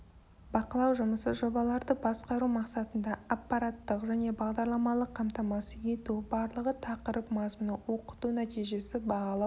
бақылау жұмысы жобаларды басқару мақсатында аппараттық және бағдарламалық қамтамасыз ету барлығы тақырып мазмұны оқыту нәтижесі бағалау